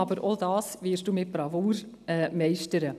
Aber auch dies werden Sie mit Bravour meistern.